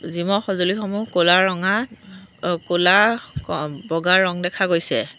জিমৰ সজুঁলিসমূহ ক'লা ৰঙা ক'লা বগা ৰং দেখা গৈছে।